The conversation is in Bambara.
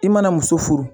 I mana muso furu